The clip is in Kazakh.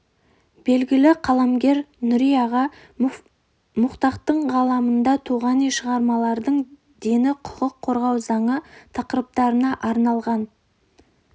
белгілі қаламгер нүри аға муфтахтың қаламынан туған шығармалардың дені құқық қорғау заң тақырыптарына арналған